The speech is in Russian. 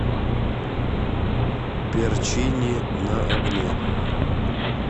перчини на огне